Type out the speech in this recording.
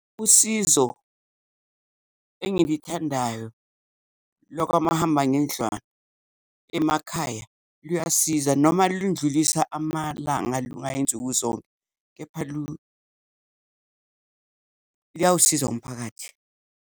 Usizo engilithandayo lwakwamahamba ngendlwana emakhaya, luyasiza noma lundlulisa amalanga lungayi nsuku zonke, kepha luyawusiza umphakathi.